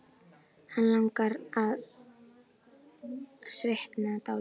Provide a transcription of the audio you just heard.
Hann langar til að svitna dálítið.